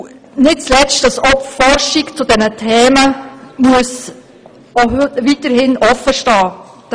Es muss nicht zuletzt auch der Forschung zu diesen Themen weiterhin offenstehen.